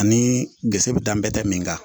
Ani gese bɛ danbe tɛ min kan